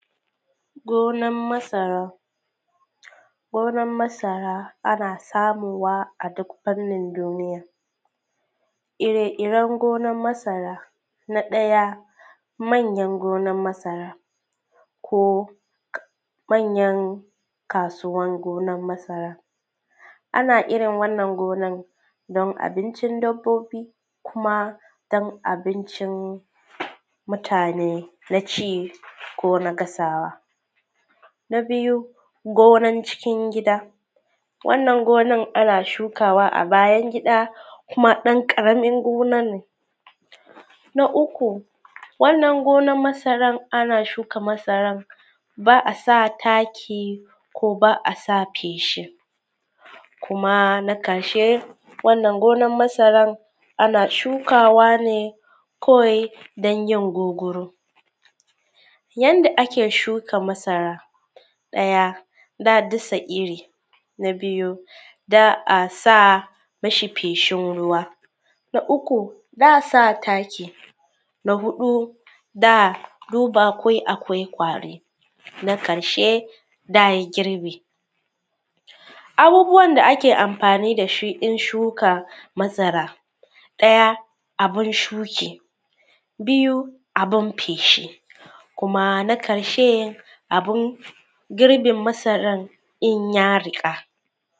Gonan masara, gonan masara ana samuwa a duk fannin duniya. Ire-iren gonan masara na ɗaya manyan gina masara ko manyan kasuwan gona masara ana irin wannan gonan don abincin dabbobi ko abincin mutane na ci ko na gasawa. Na biyu gonan cikin gida, wannan gona ana shukawa a bayan gida kuma karamin gona ne. Na uku wannan gonan masara ana shuka masaran ba a sa taki ko ba a sa feshi kuma na ƙarshe wannan gonan masara ne kawai don yin gurguru. Yadda ake shuka masara na ɗaya dasa iri na biyu za a sa mi shi feshin ruwa. Na uku za a sa taki na huɗu za a duba ko akwai ƙwari, na karshe za a yi girbi. Abubuwan da ake amfani da shi wurin shuka masara. Na ɗaya abun shuka biyu abun feshi kuma na karshe abun girbin masaran in ya riƙa.